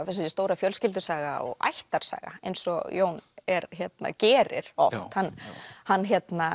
þessi stóra fjölskyldusaga og ættarsaga eins og Jón gerir oft hann